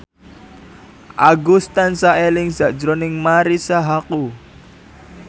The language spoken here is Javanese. Agus tansah eling sakjroning Marisa Haque